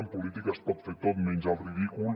en política es pot fer tot menys el ridícul